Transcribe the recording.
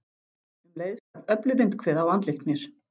Um leið skall öflug vindhviða á andlit mér.